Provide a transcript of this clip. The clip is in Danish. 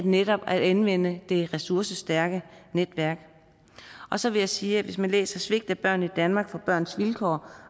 netop at anvende det ressourcestærke netværk og så vil jeg sige at det hvis man læser svigt af børn i danmark fra børns vilkår